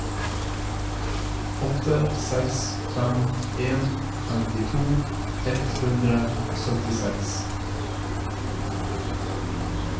åtte seks fem en femtito ett hundre og syttiseks